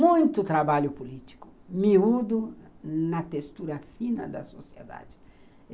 Muito trabalho político, miúdo na textura fina da sociedade.